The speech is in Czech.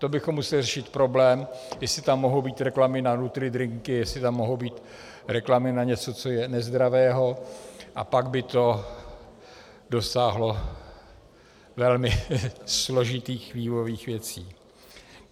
To bychom museli řešit problém, jestli tam mohou být reklamy na nutridrinky, jestli tam mohou být reklamy na něco, co je nezdravé, a pak by to dosáhlo velmi složitých vývojových věcí.